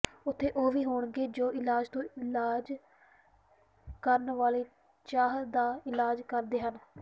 ਉੱਥੇ ਉਹ ਵੀ ਹੋਣਗੇ ਜੋ ਇਲਾਜ ਤੋਂ ਇਲਾਜ ਕਰਨ ਵਾਲੇ ਚਾਹ ਦਾ ਇਲਾਜ ਕਰਦੇ ਹਨ